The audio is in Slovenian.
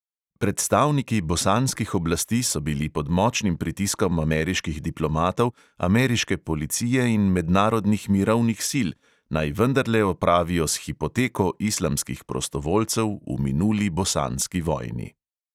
Predstavniki bosanskih oblasti so bili pod močnim pritiskom ameriških diplomatov, ameriške policije in mednarodnih mirovnih sil, naj vendarle opravijo s hipoteko islamskih prostovoljcev v minuli bosanski vojni.